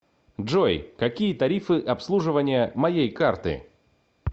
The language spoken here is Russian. джой какие тарифы обслуживания моей карты